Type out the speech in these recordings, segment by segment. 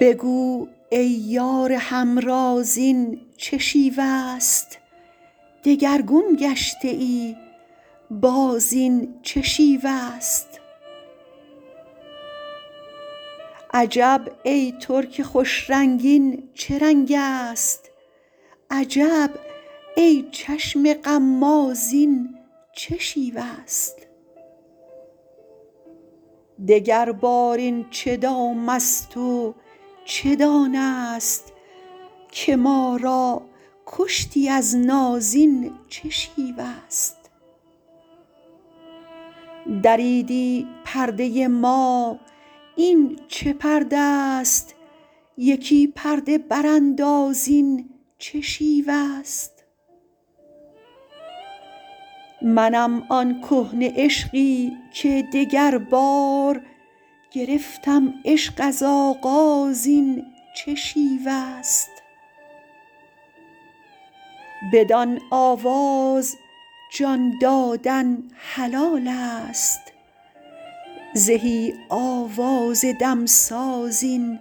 بگو ای یار همراز این چه شیوه ست دگرگون گشته ای باز این چه شیوه ست عجب ترک خوش رنگ این چه رنگست عجب ای چشم غماز این چه شیوه ست دگربار این چه دامست و چه دانه ست که ما را کشتی از ناز این چه شیوه ست دریدی پرده ما این چه پرده ست یکی پرده برانداز این چه شیوه ست منم آن کهنه عشقی که دگربار گرفتم عشق از آغاز این چه شیوه ست بدان آواز جان دادن حلالست زهی آواز دمساز این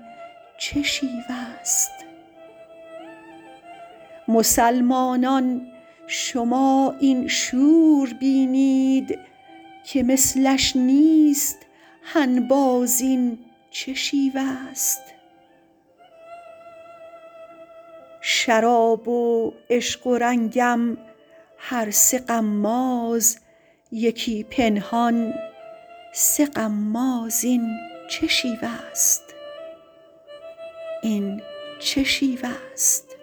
چه شیوه ست مسلمانان شما این شور بینید که مثلش نیست هنباز این چه شیوه ست شراب و عشق و رنگم هر سه غماز یکی پنهان سه غماز این چه شیوه ست